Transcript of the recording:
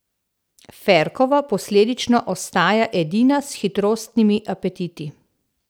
Ferkova posledično ostaja edina s hitrostnimi apetiti.